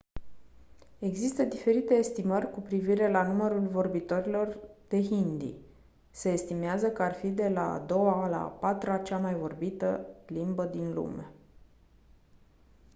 există diferite estimări cu privire la numărul vorbitorilor de hindi se estimează că ar fi de la a doua la a patra cea mai vorbită limbă din lume